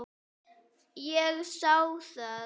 Ég sá það.